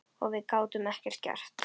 Og við gátum ekkert gert.